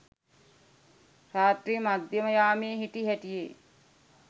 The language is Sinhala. රාත්‍රී මධ්‍යම යාමයේ හිටි හැටියේ